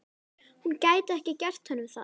Hún gæti ekki gert honum það.